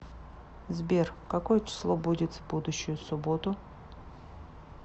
сбер какое число будет в будущую субботу